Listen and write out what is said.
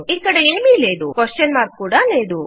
ఇక్కడ యేమీ లేదు ప్రశ్నార్థకము కూడా లేదు